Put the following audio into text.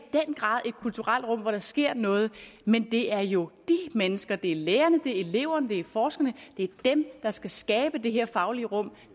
kulturelt rum hvor der sker noget men det er jo de mennesker det er lærerne det er eleverne det er forskerne der skal skabe det her faglige rum